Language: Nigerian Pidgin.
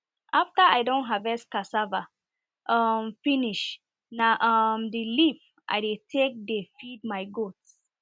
after i don harvest cassava um finish na um the leave i dey take dey feed my goats